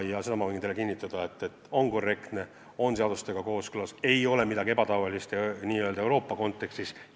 Ja seda ma võin teile kinnitada, et on korrektne, on seadustega kooskõlas, see ei ole midagi ebatavalist Euroopa Liidu kontekstis.